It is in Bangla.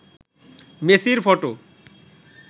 মেসির ফটো